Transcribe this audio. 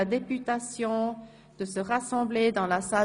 2? – Dies ist nicht der Fall.